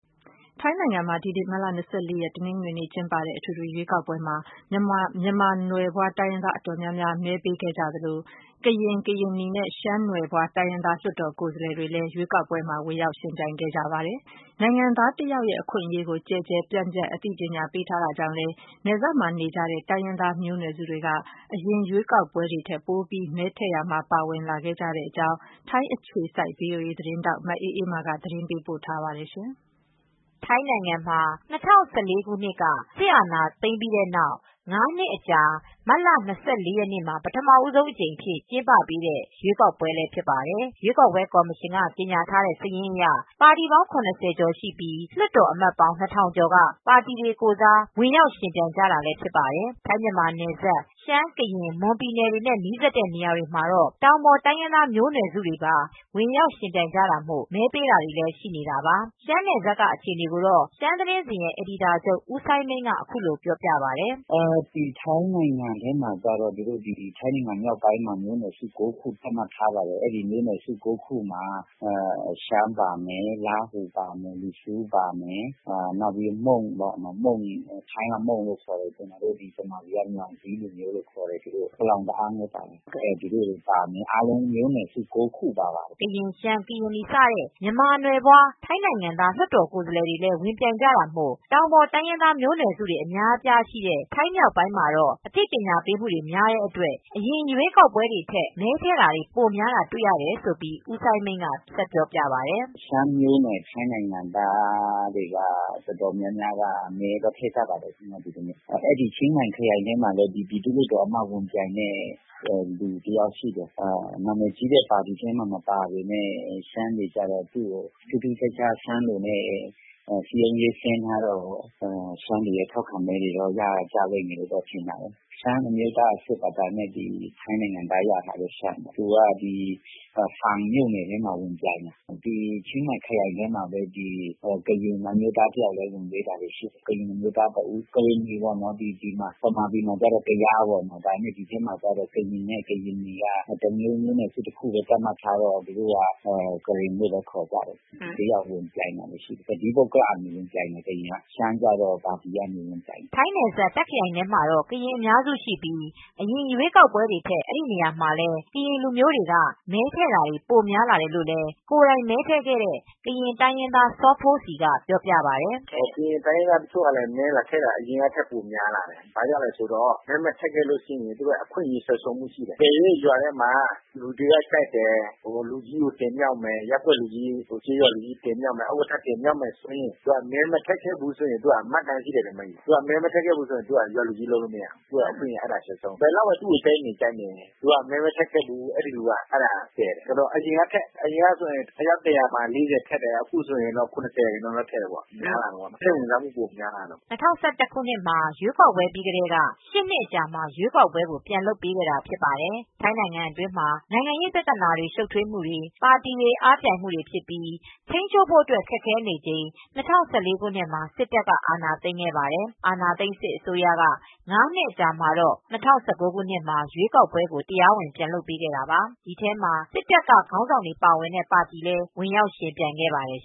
ထိုင်းနိုင်ငံမှာ မတ်လ ၂၄ ရက်နေ့ တနင်္ဂနွေနေ့မှာ အထွေထွေ ရွေးကောက်ပွဲ စတင် ကျင်းပခဲ့ရာ မှာ မြန်မာနွယ်ဖွား တိုင်းရင်းသားများက အတော်များများမဲပေးကြသလို ကရင်၊ ကရင်နီနဲ့ ရှမ်းနွယ်ဖွားတိုင်းရင်းသား လွတ်တော် ကိုယ်စားလှယ်တွေလည်း ဝင်ရောက်ယှဉ်ပြိုင်ကြပါတယ်။ နိုင်ငံသား တယောက်ရဲ့အခွင့်အရေးတွေကို ကျယ်ကျယ်ပြန့်ပြန့် ပညာပေးမူတွေ လုပ်ထားတဲ့အတွက် နယ်စပ်နေ တိုင်းရင်းသားမျိုးနွယ်စုတွေဟာ အရင် ရွေးကောက်ပွဲတွေ ထက် ပိုပြီး မဲထည့်ရာမှာ ပါဝင်ကြခဲ့တဲ့အကြောင်း ထိုင်းအခြေစိုက် VOA သတင်းထောက် မအေးအေးမာက သတင်းပေးပို့ ထားပါတယ်။ ထိုင်းနိုင်ငံမှာ ၂၀၁၄ ခုနှစ်က စစ်အာဏာသိမ်းပြီးနောက် ၅ နှစ်အကြာမတ်လ ၂၄ရက်နေ့မှာ ပထမဆုံး ကျင်းပပေးတဲ့ ရွေးကောက်ပွဲလည်း ဖြစ်ပါတယ်။ ရွေးကောက်ပွဲကော်မရှင်က ကြေညာထားတဲ့ စာရင်းအရ ပါတီပေါင်း ၇၀ကျော်ရှိပြီး လွှတ်တော်အမတ် ၂၀၀၀ ကျော်က ပါတီတွေကိုယ်စားဝင်ရောက် ယှဉ်ပြိုင်ကြတာဖြစ်ပါတယ်။ ထိုင်း- မြန်မာနယ်စပ် ရှမ်း ၊ ကရင် ၊ မွန် ပြည်နယ်တွေနဲ့ နီးစပ်တဲ့နေရာတွေမှာ တော့ တောင်ပေါ်တိုင်းရင်းသားမျိုးနွယ်စုတွေ ဝင်ရောက်ယှဉ်ပြိုင်တာမို့ မဲပေးတာတွေရှိနေတာပါ။ ရှမ်း နယ်စပ်က အခြေအနေကိုတော့ရှမ်းသတင်းစဉ်ရဲ့ အယ်ဒီတာချုပ်ဦးစိုင်းမိန်းက အခုလိုပြောပြပါတယ်။ “ ထိုင်းနိုင်ငံ မြောက်ပိုင်းမှာမျိုးနွယ်စု ၉ခုသတ်မှတ်ထားပါတယ်။ အဲဒီ ၉ခုမှာ ရှမ်းပါတယ်၊ လားဟူ လီဆူး၊ မုန်း ကျနော်တို့မြန်မာပြည်က မြှောင်ကြီးလို့ ခေါ်တယ်။ ပလောင်တအောင်းလည်း ပါမယ် အားလုံးမျိုးနွယ်စု ၉ခုပါတယ်” ကရင်၊ ရှမ်း ၊ ကရင်နီစတဲ့ မြန်မာနွယ်ဖွာ ထိုင်းနိုင်ငံသား လွှတ်တော်ကိုယ်စားလှယ်တွေ လည်းဝင်ပြိုင်ကြတာမို့ တောင်ပေါ်တိုင်းရင်းသားမျိုးနွယ်စုတွေ အများအပြားရှိတဲ့ ထိုင်းမြောက်ပိုင်းမှာတော့ အသိပညာပေးမူတွေ များတာကြောင့် အရင်ရွေးကောက်ပွဲတွေ ထက် မဲထည့်တာတွေ ပိုများတာ တွေ့ရတယ်လို့ ဦးစိုင်းမိန်းက ဆက်ပြောပြပါတယ်။ “ ရှမ်းမျိုးနွယ်စု ထိုင်းနိုင်ငံသားတွေ အားလုံးက အတော်များများ မဲထည့်ကြပါတယ်။ ချင်းမိုင်ခရိုင်ထဲမှာ ပြည်သူလွတ်တော် ကိုယ်စားလှယ် အမတ်အဖြစ် ဝင်ပြိုင်တာရှိပါတယ်။ နာမည်ကြီးပါတီမှာ မဟုတ်ပေမယ့် သူက ရှမ်းလို စည်းရုံးမူတွေ လုပ်ထားတော့ ရှမ်း မဲအတော်များများ ရလိမ့်မယ်ထင်တာပဲ။ ရှမ်းအမျိုးသား အစစ်ကတော့ ထိုင်းနိုင်ငံသားရထားတဲ့ ၊ ရှမ်းပါ သူက ဖန်မြို့နယ်ထဲမှာ ဝင်ပြိုင်တာရှိတယ်။ ဒီချင်းမိုင် ခရိုင်ထဲမှာပဲ ကရင်အမျိုးသား တဦးဝင်ရွေးတယ် ကရင်နီပေါ့။ မြန်မာပြည်မှာတော့ ကယားပေါ့ ထိုင်းနိုင်ငံမှာတော့ ကရင် အမျိုးသားလို့ပဲ မျိုးနွယ်စု တခုလိုပဲ သတ်မှတ်ထားတော့ ကရင်အမျိုးသားပေါ့ သူက တော့ တသီးပုဂ္ဂလ အဖြစ်ဝင်ပြိုင်တာပါ ရှမ်းကတော့ပါတီကနေပြိုင်တာပါ။” ထိုင်းနယ်စပ်တာ့ ခရိုင်ထဲမှာတော့ ကရင်အများစုရှိကြပြီး အရင် ရွေးကောက်ပွဲတွေထက် အဲဒီနေရာမှာလည်း ကရင်လူမျိုးတွေ ကမဲထည့်တာတွေပိုများလာတယ်လို့ ကိုယ်တိုင်မဲထည်ခဲ့တဲ့ ကရင်တိုင်းရင်းသား စောဖိုးစီက ပြောပါတယ်။ “ကရင်တိုင်းရင်းသား တချို့ကလည်း မဲလာထည့်တာ အရင်ကထက်များလာတယ် ဘာကြောင့်လဲဆိုတော့ မဲမထည့်ခဲ့ဘူးဆိုရင် အခွင့်အရေးဆံုံးရှုံးဖို့ှရှိတယ် ။ အကယ်လို့လူတယောက်ဟာ ရွာထဲမှာကျေးရွာလူကြီး လုပ်မယ်။ ဥက္ကဌတင်မြှောက်မယ် ဆိုရင်သူက အရင်က မဲမထည့်ခဲ့ဘူးဆိုရင် သူ့ကိုမှတ်တမ်းရှိတော့ သူကရွာသူကြီးလုပ်လို့ မရဘူး။ ဘယ်လောက်ပဲ လူထုကြိုက်ကြိုက်သူကိုပယ်တယ်။ သူမှာ့မှတ်တမ်းရှိတယ်။ ဒါကြောင့် အရင်ကထက် မဲပိုထည့်လာကြတယ် အရင်က အယောက် ၁၀၀မှာ ၄၀လောက်ထည့်တယ် ဆိုရင် အခုဆိုရင် ၇၀ရာခိုင်နှုန်းလောက်ထိ ထည့်လာကြတယ် စိတ်ဝင်စားမူပိုများလာတာပေါ့” ၂၀၁၁ ရွေးကောက်ပွဲပြီးကတည်းက ၈နှစ်အတွင်းမှာ ရွေးကောက်ပွဲလုပ်ခဲ့တာဖြစ်ပါတယ်။ ထိုင်းနိုင်ငံတွင်းမှာ နိုင်ငံရေးပြဿနာတွေ ရှုပ်ထွေးမူတွေ ပါတီတွေအားပြိုင်မူတွေဖြစ်ပြီး ထိန်းချုပ်ဖို့ခက်ခဲနေချိန် ၂၀၁၄ ခုနှစ်မှာ စစ်တပ်က အာဏာသိမ်းခဲ့ပါတယ်။ အာဏာသိမ်းစစ် အစိုးရက ၅နှစ်အကြာမှာတော့ ၂၀၁၉ ခုနှစ်မှာ ရွေးကောက်ပွဲကိုတရားဝင် ပြန်လုပ်ပေးခဲ့တာပါ။ ဒီထဲမှာစစ်တပ်ခေါင်းဆောင်တွေ ပါဝင်တဲ့ပါတီလည်း ဝင်ရောက်ယှဉ်ပြိုင်ခဲ့ပါတယ်